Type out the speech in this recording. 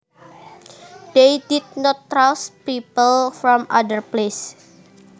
They did not trust people from other places